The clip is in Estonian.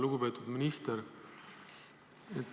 Lugupeetud minister!